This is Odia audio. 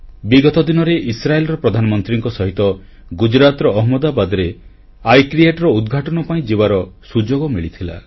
ବିଗତ ଦିନରେ ଇସ୍ରାଏଲର ପ୍ରଧାନମନ୍ତ୍ରୀଙ୍କ ସହିତ ଗୁଜରାଟର ଅହମ୍ମଦାବାଦରେ ଆଇକ୍ରିଏଟ୍ ର ଉଦ୍ଘାଟନ ପାଇଁ ଯିବାର ସୁଯୋଗ ମିଳିଥିଲା